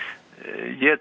ég